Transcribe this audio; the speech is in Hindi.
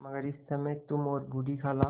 मगर इस समय तुम और बूढ़ी खाला